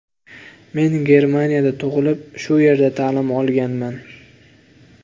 Men Germaniyada tug‘ilib, shu yerda ta’lim olganman.